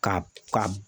Ka ka